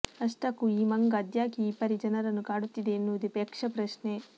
ಅಷ್ಟಕ್ಕೂ ಈ ಮಂಗ ಅದ್ಯಾಕೆ ಈ ಪರಿ ಜನರನ್ನು ಕಾಡುತ್ತಿದೆ ಎನ್ನುವುದೇ ಯಕ್ಷಪ್ರಶ್ನೆ